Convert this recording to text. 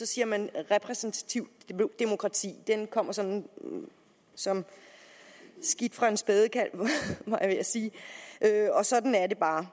siger man repræsentativt demokrati det kommer sådan som skidt fra en spædekalv var jeg ved at sige og sådan er det bare